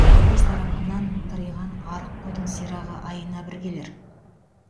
колхоз тарапынан тыриған арық қойдың сирағы айына бір келер